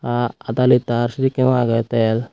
ahh aada liter sedekkeno aagey tel.